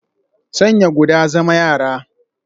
Sanya guda, zama yara